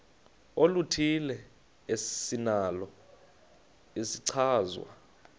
oluthile esinalo isichazwa